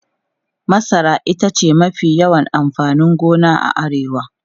Masara ita ce mafi yawan amfanin gona a Arewa.